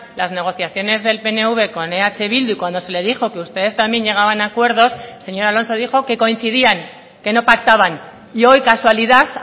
las negociaciones del pnv con eh bildu y cuando se le dijo que ustedes también llegaban a acuerdos el señor alonso dijo que coincidían que no pactaban y hoy casualidad